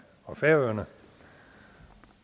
og færøerne